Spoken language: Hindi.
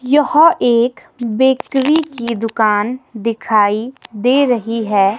यह एक बेकरी की दुकान दिखाई दे रही है।